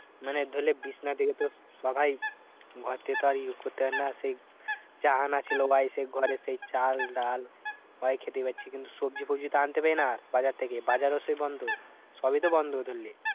মানে ধরলে বিছানা থেকে তো সবাই ঘর থেকে তো আর ইয়ে করতে পারে না। সেই যা আনা ছিল বা এই সেই ঘরে সেই চাল ডাল হয় খেতে পাচ্ছি। কিন্তু সবজি ফোবজি তো আনতে পারি না বাজার থেকে, বাজার ও সেই বন্ধ। সবই তো বন্ধ ধরলে।